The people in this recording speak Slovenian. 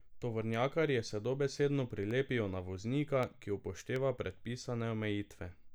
Tovornjakarji se dobesedno prilepijo na voznika, ki upošteva predpisane omejitve.